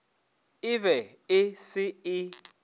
e be e se e